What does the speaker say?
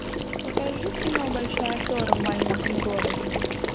покажи кино большая афера в маленьком городе